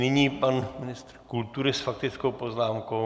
Nyní pan ministr kultury s faktickou poznámkou.